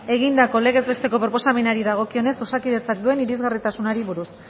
egindako legez besteko proposamenari dagokionez osakidetzak duen irisgarritasunari buruz